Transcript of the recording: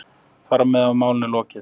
Þar með var málinu lokið.